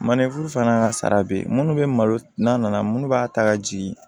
Manden furu fana ka sara bɛ yen minnu bɛ malo n'a nana minnu b'a ta ka jigin